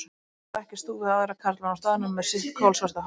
Hann stakk í stúf við aðra karlmenn á staðnum með sitt kolsvarta hár.